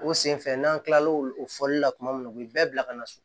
O senfɛ n'an kilala o fɔli la tuma min u bɛ bɛɛ bila ka na so